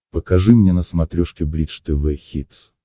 покажи мне на смотрешке бридж тв хитс